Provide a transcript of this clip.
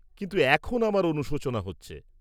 কিন্তু, এখন আমার অনুশোচনা হচ্ছে।